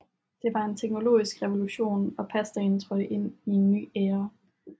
Det var en teknologisk revolution og pastaen trådte ind i en ny æra